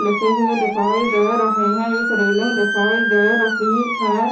लिखे हुए दिखाई दे रहे हैं एक रेलिंग दिखाई दे रही है।